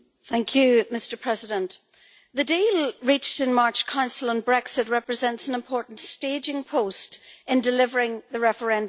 Mr President, the deal reached in the March Council on Brexit represents an important staging post in delivering the referendum result.